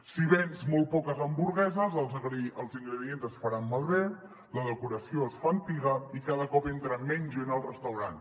si vens molt poques hamburgueses els ingredients es faran malbé la decoració es fa antiga i cada cop entra menys gent al restaurant